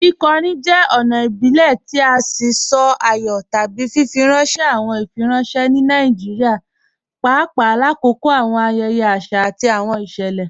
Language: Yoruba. Kíkọ̀rín jẹ́ ọ̀na ìbílẹ̀ tì sí sọ̀ àyọ̀ tábí fífirànṣẹ̀ awọn ìfírànṣẹ̀ ní Nàìjíríà, pàpà làkọ̀kọ̀ awọn ayẹyẹ̀ àṣà àti awọn ìṣẹ́lẹ.